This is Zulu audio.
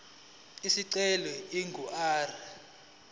isicelo ingu r